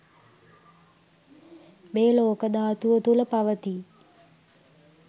මේ ලෝක ධාතුව තුළ පවතී.